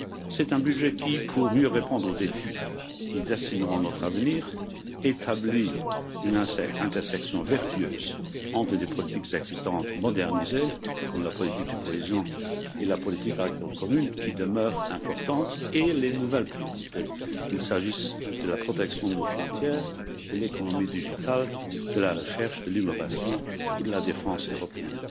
C'est un budget qui, pour mieux répondre aux défis qui dessineront notre avenir, établit une intersection vertueuse entre des politiques existantes modernisées comme la politique de cohésion et la politique agricole commune qui demeurent importantes et les nouvelles priorités, qu'il s'agisse de la protection de nos frontières, de l'économie numérique, de la recherche, de l'innovation ou de la défense européenne.